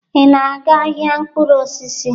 Ị na-aga ahịa mkpụrụ osisi?